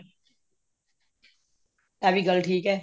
ਇਹ ਵੀ ਗੱਲ ਠੀਕ ਹੈ